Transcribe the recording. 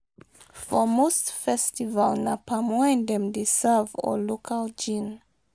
For most festival, na palm wine dem dey serve or local gin